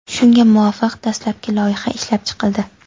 Shunga muvofiq, dastlabki loyiha ishlab chiqildi.